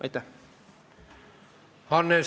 Aitäh!